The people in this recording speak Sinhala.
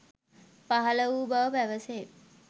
පහළ වූ බව පැවැසේ.